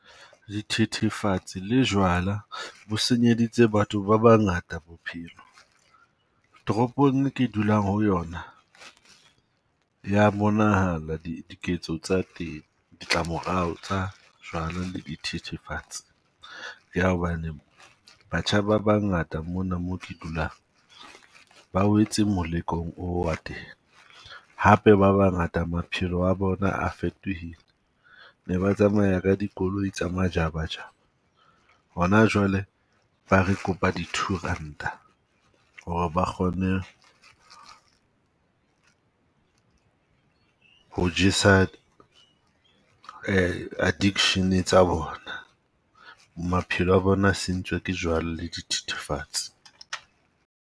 Dithethefatsi le jwala bo senyeditse batho ba bangata bophelo. Toropong e ke dulang ho yona, ya bonahala diketso tsa teng, ditlamorao tsa jwala le dithethefatsi. Ya hobane batjha ba bangata mona mo ke dulang, ba wetse molekong oo wa teng. Hape ba bangata maphelo a bona fetohile, ne ba tsamaya ka dikoloi tsa majabajaba. Hona jwale ba re kopa di-two ranta ho re ba kgone ho jesa addiction tsa bona. Maphelo a bona a sentswe ke jwala le dithethefatsi.